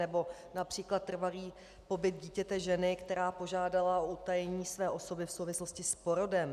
Nebo například trvalý pobyt dítěte ženy, která požádala o utajení své osoby v souvislosti s porodem.